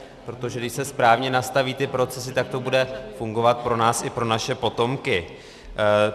Protože když se správně nastaví ty procesy, tak to bude fungovat pro nás i pro naše potomky.